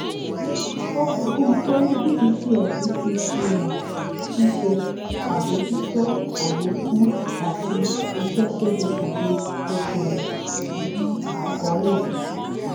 ó fikun pé bdcs ti fíhàn ṣíṣe àbójútó àlékún àti ìṣe ségesège okoòwò nínú àkọọlẹ